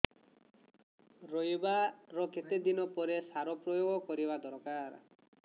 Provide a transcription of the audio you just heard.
ରୋଈବା ର କେତେ ଦିନ ପରେ ସାର ପ୍ରୋୟାଗ କରିବା ଦରକାର